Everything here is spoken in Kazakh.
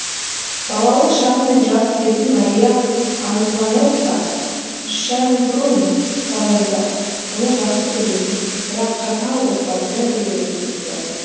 балалық шағы мен жас кезін мария антуанетта шенбрунн сарайында оны жақсы көретін бірақ қатал отбасымен бірге өткізді